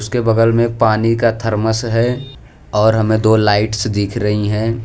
के बगल में पानी का थरमस है और हमें दो लाइट्स दिख रही हैं।